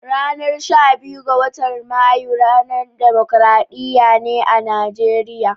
Ranan sha biyun, wotan Mayu ne ranan Dimokuradiyya a'Nijeriya.